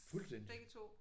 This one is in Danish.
Fuldstændig